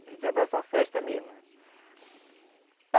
Naquele tempo era só festa mesmo.